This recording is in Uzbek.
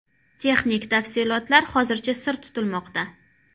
Texnik tafsilotlar hozircha sir tutilmoqda.